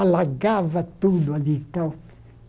Alagava tudo ali e tal.